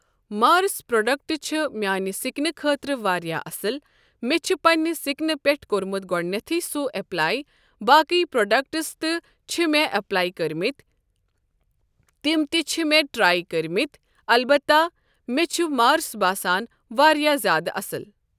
مارس product چھ میانہِ سکنہٕ خٲطرٕ واریاہ اصل مےٚ چھ پننہِ سکنہٕ پیھ کوٚرمُت گوڈنتھے سۄے اٮ۪پلے باقی پروڈکٹس تہِ چھ مےٚ اٮ۪پلے کٔرۍمِتۍ تم تہِ چھ مےٚ ٹرے کٔرۍ مٕتۍ البتہٕ مےٚ چھ مارس باسان واریاہ زیادٕ اصل۔